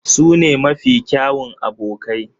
Su ne mafi kyawun abokai.